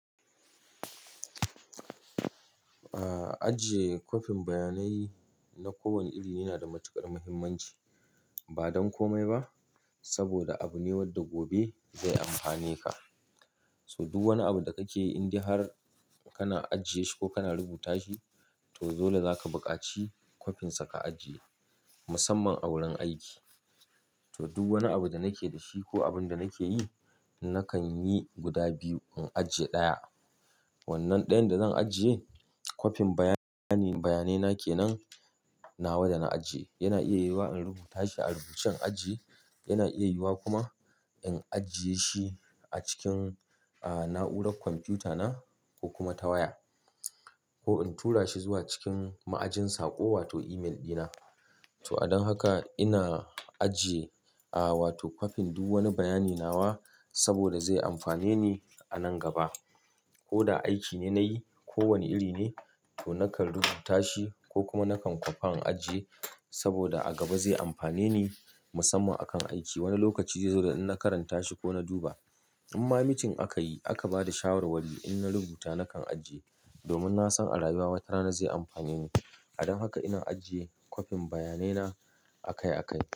Ajiye kwafin bayanai na kowane iri yana da matuƙar mahimmanci ba don komai ba saboda abu ne wanda gobe zai amfane ka. So duk wani abu da kake inde har kana ajiye shi ko kana rubuta shi to dole zaka buƙaci kwafin sa ka ajiye musamman a wurin aiki. To duk wani abu da nake da shi ko abin da nake yi nakan yi guda biyu in ajiye ɗaya. Wannan ɗayan da zan ajiye kwafin bayani- bayanai na kenan nawa da na ajiye yana iya yiwuwa in rubuta shi a rubucen aji, yana iya yiwuwa kuma in ajiye shi a cikin na'urar kwamfuta na ko kuma ta waya ko in tura shi zuwa cikin ma'ajin saƙo wato email ɗina. To a don haka ina ajiye wato kwafin duk wani bayani nawa saboda zai amfane ni a nan gaba. Ko da aiki ne nayi ko wane iri ne to nakan rubuta shi ko kuma nakan kwafa in ajiye saboda a gaba zai amfane ni musamman a kan aiki wani lokaci zai zo da in na karanta shi ko na duba. In ma mitin aka yi aka ba da shawarwari in na rubuta nakan ajiye domin na san a rayuwa wata rana zai amfane ni. Don haka ina ajiye kwafin bayanai na akai-akai.